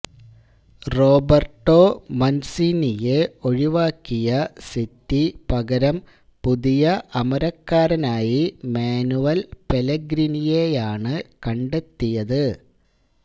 Roberto മന്സീനിയെ ഒഴിവാക്കിയ City പകരം പുതിയ അമരക്കാരനായി മാനുവല് പെലേഗ്രിനിയെയാണ് കണ്ടെത്തിയത്